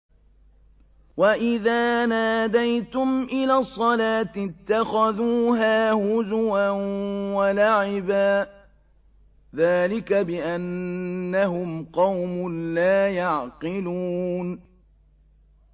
وَإِذَا نَادَيْتُمْ إِلَى الصَّلَاةِ اتَّخَذُوهَا هُزُوًا وَلَعِبًا ۚ ذَٰلِكَ بِأَنَّهُمْ قَوْمٌ لَّا يَعْقِلُونَ